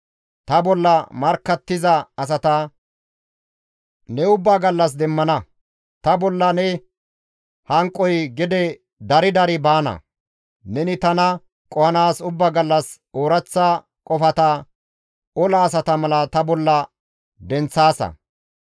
Ta bolla markkattiza asata ne ubbaa gallas demmana; ta bolla ne hanqoy gede dari dari baana; neni tana qohanaas ubba gallas ooraththa qofata ola asata mala ta bolla denththaasa.